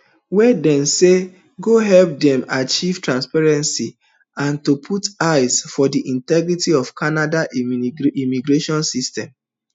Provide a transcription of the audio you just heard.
wey dem say go help dem achieve transparency and to put eye for di integrity of canada immigration system